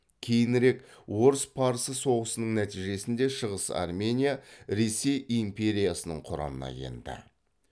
кейінірек орыс парсы соғысының нәтижесінде шығыс армения ресей империясының құрамына енді